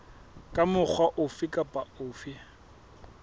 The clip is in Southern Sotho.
ka mokgwa ofe kapa ofe